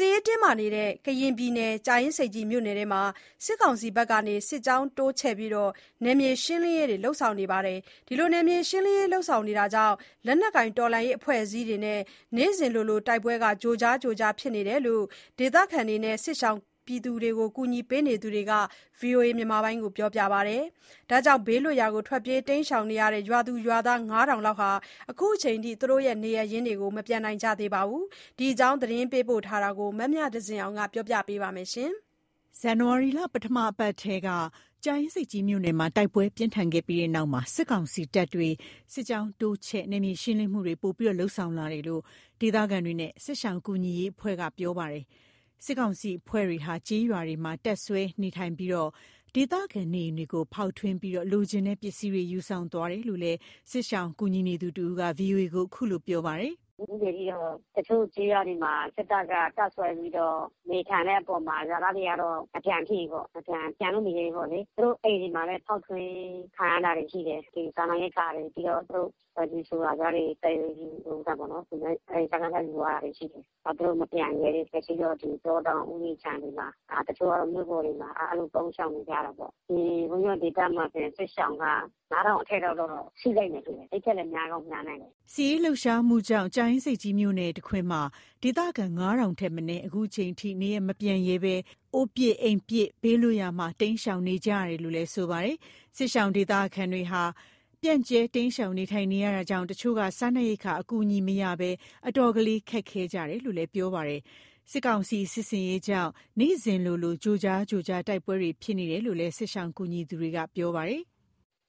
စ်ရေးတင်းမာနေတဲ့ ကရင်ပြည်နယ်၊ ကြာအင်းဆိပ်ကြီးမြို့နယ်မှာ စစ်ကောင်စီဖက်က စစ်ကြောင်းတိုးချဲ့ပြီး နယ်မြေရှင်းလင်းရေး လုပ်ဆောင်နေတာကြောင့် လက်နက်ကိုင် တော်လှန်းရေးအဖွဲ့အစည်းတွေနဲ့ နေ့စဉ်လိုလို တိုက်ပွဲ ကြိုကြားကြိုကြား ဖြစ်နေဆဲပဲလို့ ဒေသခံနဲ့ စစ်ရှောင်ကူညီပေးသူတွေက ဗွီအိုအေကို ပြောပါတယ်။ ဒါကြောင့် ဘေးလွတ်ရာ ထွက်ပြေးနေတဲ့ ရွာသူရွာသား ၅,၀၀၀ လောက်ဟာ ခုချိန်ထိ နေရပ်ပြန်နိုင်ကြသေးပါဘူး။ ဒီအကြောင်း သတင်းပေးပို့ချက်ကို မမြသဇင်အောင်က ပြောပြမှာပါ။ ဇန်နဝါရီလ ပထမအပတ်ထဲက ကြာအင်းဆိပ်ကြီးမြို့နယ်မှာ တိုက်ပွဲပြင်းထန်ခဲ့ပြီးနောက် စစ်ကောင်စီတပ်တွေ စစ်ကြောင်းတိုးချဲ့ နယ်မြေရှင်းလင်းမှုတွေ ပိုမိုလုပ်ဆောင်လာတယ်လို့ ဒေသခံတွေနဲ့ စစ်ရှောင်ကူညီရေးအဖွဲ့က ပြောပါတယ်။ စစ်ကောင်စီအဖွဲ့တွေဟာ ကျေးရွာတွေမှာ တပ်စွဲနေရာထိုင်ပြီး ဒေသခံနေအိမ်တွေကို ဖောက်ထွင်းကာ လိုချင်တဲ့ ပစ္စည်းတွေ ယူဆောင်သွားတာလို့ စစ်ရှောင်ကူညီနေသူတစ်ဦးက ဗွီအိုအေကို ခုလိုပြောပါတယ်။ “တချို့ကျေးရွာတွေမှာ စစ်တပ်က တပ်စွဲပြီးတော့ နေထိုင်တဲ့အပေါ်မှာ ရွာသားတွေကတော့ မပြန်ဖြစ်ဘူးပေါ့။ ပြန်လို့မရဲဘူးပေါ့လေ။ သူတို့ အိမ်တွေမှာလည်း ဖောက်ထွင်းခံရတာတွေ ရှိတယ်၊ ဒီစားနရိက္ခာတွေ။ ပြီးတော့ သူတို့ ဆိုလာပြားတွေ သိမ်းပြီး စကစက ယူသွားတာရှိတယ်။ သူတို့မပြန်ရဲဘူး။ လက်ရှိတော့ တောတောင်ဥယျာဉ်ခြံတွေမှာ၊ တချို့က မြို့ပေါ်တွေမှာ၊ အဲ့လိုပုန်းရှောင်နေကြတာပေါ့။ ဒီဝင်ရော်ဒေသမှာဆိုရင် စစ်ရှောင်က ၅,၀၀၀ အထက်လောက်တော့ ရှိလိမ့်မယ်ထင်တယ်။ အဲ့ထက်လည်း များကောင်းများနိုင်တယ်။” စစ်ရေးလှုပ်ရှားမှုကြောင့် ကြာအင်းဆိပ်ကြီးနယ်တခွင်မှာ ဒေသခံ ၅,၀၀၀ ထက်မနည်း ခုချိန်ထိ နေရပ်မပြန်ရဲဘဲ အိုးပစ်အိမ်ပစ် ဘေးလွတ်ရာမှာ တိမ်းရှောင်နေကြရတာလို့ ဆိုပါတယ်။ စစ်ရှောင်ဒေသခံတွေဟာ ပြန့်ကျဲ တိမ်းရှောင် နေထိုင်နေတာကြောင့် တချို့က စားနပ်ရိက္ခာအကူအညီမရရှိဘဲ အတော်လေးခက်ခဲနေကြတယ်လို့ ပြောပါတယ်။ စစ်ကောင်စီရဲ့ စစ်ဆင်ရေးကြောင့် နေ့စဉ်လိုလို ကြိုကြားကြိုကြား တိုက်ပွဲဖြစ်နေတာလို့ စစ်ရှောင်ကူညီနေသူက ပြောပါတယ်။ “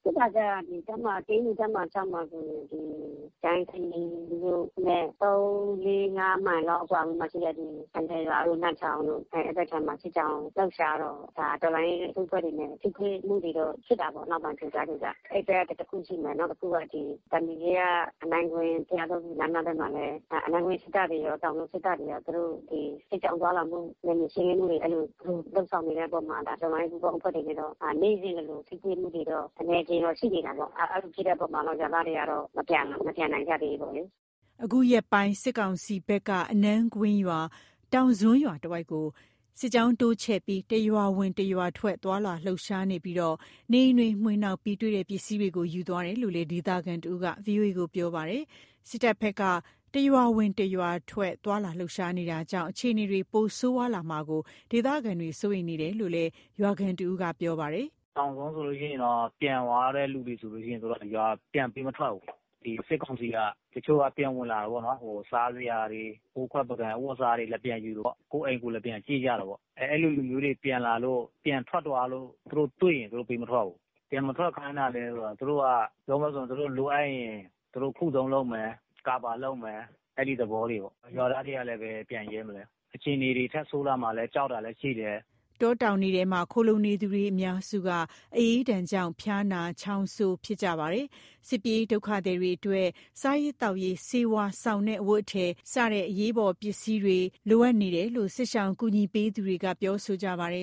ဖြစ်တာကျတော့ KNU တပ်မဟာ ၆ မှာဆိုရင် ဒီကြာအင်းဆိပ်ကြီးမြို့နဲ့ ၃ ၄ ၅ မိုင်လောက် အကွာမှာရှိတဲ့ ဒီ ခလယ်ရွာတို့ နတ်ချောင်းတို့ အဲ့ဖက်ခြမ်းမှာ စစ်ကြောင်း လှုပ်ရှားတော့ ဒါ တော်လှန်းရေး အစုအဖွဲ့တွေနဲ့ ထိတွေ့မှုတွေတော့ ဖြစ်တာပေါ့။ နောက်ပိုင်း ကြိုကြားကြိုကြား အဲ့ဘက် တစ်ခုရှိမယ်။ နောက်တစ်ခုက ဒီသံဖြူဇရပ် အနန်းကွင်း ဘုရားသုံးဆူလမ်းမဘက်မှာလည်း အနန်းကွင်းစစ်တပ်တွေရော၊ တောင်စွန်းစစ်တပ်တွေရော သူတို့ဒီစစ်ကြောင်းသွားလာမှု နယ်မြေ ရှင်းလင်းမှုတွေ အဲ့လိုသူတို့လုပ်ဆောင်နေတဲ့ အပေါ်မှာ ဒါ တော်လှန်းရေး ပူပေါင်းအဖွဲ့တွေနဲ့တော့ နေ့စဉ်လိုလို ထိတွေ့မှုတွေတော့ အနည်းအကျဉ်းတော့ ရှိနေတာပေါ့။ အဲ့လိုဖြစ်တဲ့အပေါ်မှာ ရွာသားတွေက မပြန်နိုင်ကြသေးဘူးပေါ့လေ။” အခုရက်ပိုင်း စစ်ကောင်စီဖက်က အနန်းကွင်းရွာ တောင်စွန်းရွာတဝိုက်ကို စစ်ကြောင်း တိုးချဲ့ ပြီး တစ်ရွာဝင် တစ်ရွာထွက် သွားလာလှုပ်ရှားကာ နေအိမ်တွေ မွှေနှောက်ပြီး တွေ့တဲ့ ပစ္စည်းတွေကို ယူသွားတယ်လို့ ဒေသခံတစ်ဦးက ဗွီအိုအေကို ပြောပါတယ်။ စစ်တပ်ဘက် တစ်ရွာဝင်တစ်ရွာထွက် သွားလာလှုပ်ရှားနေတာကြောင့် အခြေအနေ ပိုမိုစိုးရွားလာမှာကို ဒေသခံ စိုးရိမ်နေရကြတယ်လို့ ရွာခံတစ်ဦးက ပြောပါတယ်။ “တောင်စွန်းဆိုလို့ရှိရင်တော့ ပြန်သွားတဲ့လူတွေဆိုလို့ရှိရင် သူတို့ ရွာကို ပြန်ပေးမထွက်ဘူး။ ဒီ စစ်ကောင်စီက တချို့က ပြန်ဝင်လာတယ်ပေါ့နော်။ စားစရာတွေ၊ အိုးခွက်ပန်ကန် အဝတ်အစားတွေ လာပြန်ယူတယ်ပေါ့။ ကိုယ့်အိမ်ကို လာပြန်ကြည့်ကြတယ်ပေါ့။ အဲ့လိုလူမျိုးတွေ ပြန်လာလို့၊ ပြန်ထွက်သွားလို့ သူတို့တွေ့ရင် သူတို့ ပေးမထွက်ဘူး။ ဘာလို့ပြန်မထွက်ခိုင်းတာလဲ ဆိုတော့ သူတို့က ပြောမယ်ဆို သူတို့ လိုအပ်ရင် သူတို့ ခုတုံးလုပ်မယ်၊ ကာဗာလုပ်မယ်၊ အဲ့ဒီသဘောတွေပေါ့၊ ရွာသားတွေကလည်းပဲ ဘယ်ပြန်ရဲမလဲ။ အခြေအနေတွေ ထပ်ဆိုးလာမှာ ကြောက်တာလည်း ရှိတယ်။” တောတောင်တွေထဲမှာ ခိုလှုံနေသူတွေအများစုက အအေးဒဏ်ကြောင့် ဖျားနာ ချောင်းဆိုးနေကြပါတယ်။ စစ်ပြေးဒုက္ခသည်တွေအတွက် စားရေးသောက်ရေး၊ ဆေးဝါး၊ စောင်နဲ့ အဝတ်အထည် စတဲ့ အရေးပေါ်ပစ္စည်းတွေ အလွန်ပင် လိုအပ်နေကြတယ်လို့ စစ်ရှောင်ကူညီပေးသူက ပြောဆိုပါတယ